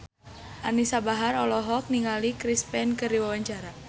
Anisa Bahar olohok ningali Chris Pane keur diwawancara